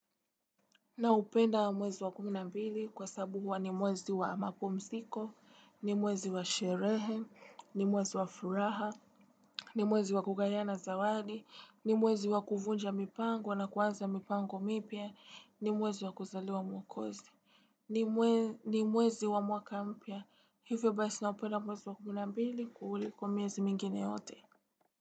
Naupenda wa mwezi wa kumi na mbili kwa sabu huwa ni mwezi wa mapumsiko, ni mwezi wa sherehe, ni mwezi wa furaha, ni mwezi wa kugayana zawadi, ni mwezi wa kuvunja mipango na kuanza mipango mipya, ni mwezi wa kuzalewa mwokozi. Ni mwezi wa mwaka mpya, hivyo basi naupenda mwezi wa kumi na mbili kuliko miezi mingine yote.